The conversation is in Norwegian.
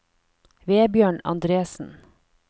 Vebjørn Andresen